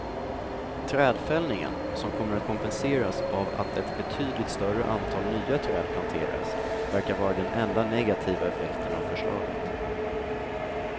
Trädfällningen, som kommer att kompenseras av att ett betydligt större antal nya träd planteras, verkar vara den enda negativa effekten av förslaget.